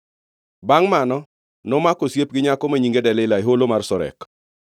Bangʼ mano, nomako osiep hera gi nyako ma nyinge Delila e Holo mar Sorek.